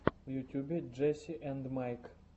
в ютьюбе джесси энд майк